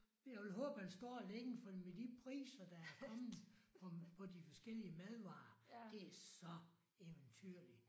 Jeg vil håbe han står længe fordi med de priser der er kommet på på de forskellige madvarer det så eventyrlig